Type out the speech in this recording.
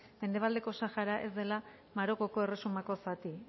mendebaldeko sahara ez dela marokoko erresumako zati